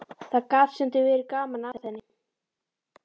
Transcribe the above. Það gat stundum verið gaman að henni.